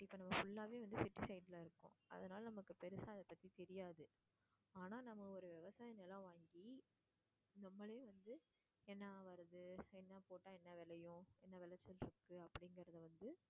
நம்ம full ஆவே வந்து city side ல இருக்கோம் அதனால நமக்கு பெருசா அதை பத்தி தெரியாது. ஆனா நம்ம ஒரு விவசாய நிலம் வாங்கி நம்மளே வந்து என்ன வருது என்ன போட்டா என்ன விளையும் என்ன விளைச்சல் இருக்கு அப்படிங்குறத வந்து